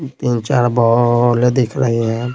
तीन चार बॉल आ दिख रहे हैं।